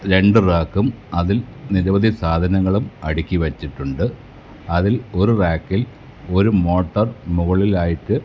രണ്ട് റാക്കും അതിൽ നിരവധി സാധനങ്ങളും അടുക്കി വെച്ചിട്ടുണ്ട് അതിൽ ഒരു റാക്കിൽ ഒരു മോട്ടർ മുകളിൽ ആയിട്ട് --